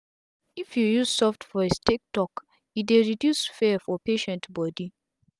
if u use soft voice take talk e dey reduce fear for patient bodi